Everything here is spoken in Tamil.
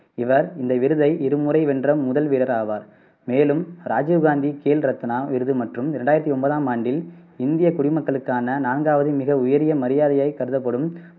இவர் இந்த விருதை இருமுறை வென்ற முதல் வீரர் ஆவார். மேலும் ராஜீவ் காந்தி கேல் ரத்னா விருது மற்றும் ரெண்டாயிரத்தி ஓன்பதாம் ஆண்டில் இந்திய குடிமக்களுக்கான நான்காவது மிக உயரிய மரியாதையாய் கருதப்படும்